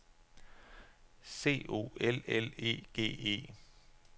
C O L L E G E